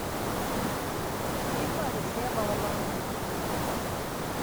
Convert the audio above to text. фильмы алексея балабанова